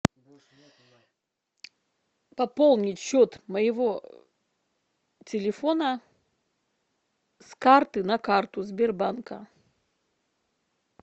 пополнить счет моего телефона с карты на карту сбербанка